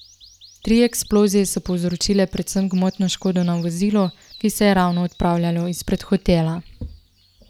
Tri eksplozije so povzročile predvsem gmotno škodo na vozilu, ki se je ravno odpravljalo izpred hotela.